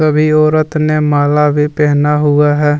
वे औरत ने माला भी पहना हुआ है।